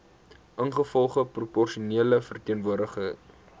ingevolge proporsionele verteenwoordiging